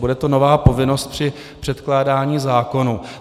Bude to nová povinnost při předkládání zákonů.